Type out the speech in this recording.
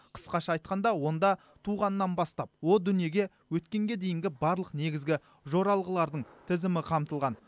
қысқаша айтқанда онда туғаннан бастап о дүниеге өткенге дейінгі барлық негізгі жоралғылардың тізімі қамтылған